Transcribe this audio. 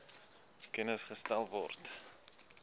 kennis gestel word